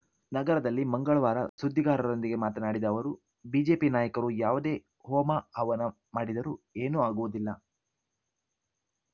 ನಗರದಲ್ಲಿ ಮಂಗಳವಾರ ಸುದ್ದಿಗಾರರೊಂದಿಗೆ ಮಾತನಾಡಿದ ಅವರು ಬಿಜೆಪಿ ನಾಯಕರು ಯಾವುದೇ ಹೋಮ ಹವನ ಮಾಡಿದರೂ ಏನೂ ಆಗುವುದಿಲ್ಲ